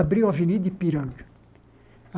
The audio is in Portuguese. Abriu a Avenida Ipiranga.